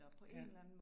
Ja